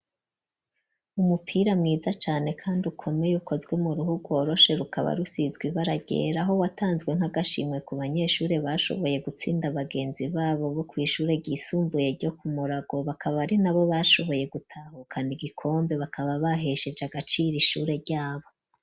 Umupira mwiza cane kandi ukomeye ukozwe mu ruhu rworoshe rukaba rusizwe ibara ryera aho watanzwe nk'agashimwe ku banyeshure bashoboye gutsinda abagenzi babo bo ku ishure ry'isumbuye ryo ku murago bakaba ari na bo bashoboye gutahukana igikombe bakaba bahesheje agacira ishure ryabo.